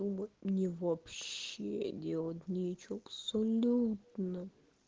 мне вообще делать нечего абсолютно